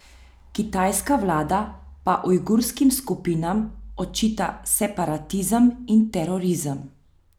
Kitajska vlada pa ujgurskim skupinam očita separatizem in terorizem.